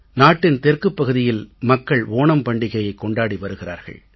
நாட்டின் தெற்குப் பகுதியில் மக்கள் ஓணம் பண்டிகையைக் கொண்டாடி வருகிறார்கள்